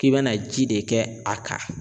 K'i bɛna ji de kɛ a kan.